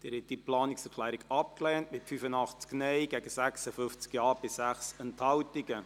Sie haben diese Planungserklärung abgelehnt, mit 85 Nein- gegen 56 Ja-Stimmen bei 6 Enthaltungen.